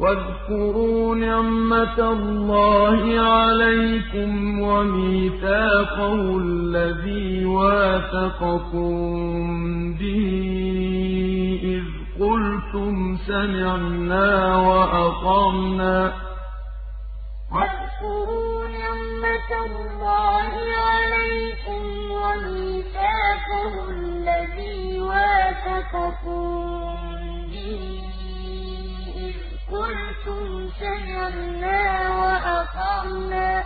وَاذْكُرُوا نِعْمَةَ اللَّهِ عَلَيْكُمْ وَمِيثَاقَهُ الَّذِي وَاثَقَكُم بِهِ إِذْ قُلْتُمْ سَمِعْنَا وَأَطَعْنَا ۖ وَاتَّقُوا اللَّهَ ۚ إِنَّ اللَّهَ عَلِيمٌ بِذَاتِ الصُّدُورِ وَاذْكُرُوا نِعْمَةَ اللَّهِ عَلَيْكُمْ وَمِيثَاقَهُ الَّذِي وَاثَقَكُم بِهِ إِذْ قُلْتُمْ سَمِعْنَا وَأَطَعْنَا ۖ